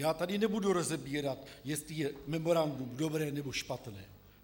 Já tady nebudu rozebírat, jestli je memorandum dobré, nebo špatné.